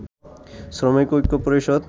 শ্রমিক ঐক্য পরিষদ